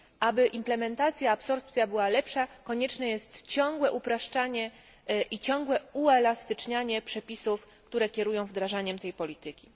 Aby implementacja i absorpcja była lepsza, konieczne jest ciągłe upraszczanie i ciągłe uelastycznianie przepisów, które kierują wdrażaniem tej polityki.